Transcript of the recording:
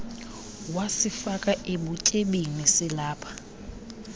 wasifaka ebutyebini silapha